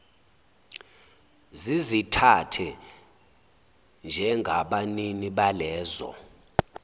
zizithathe njengabanini balezo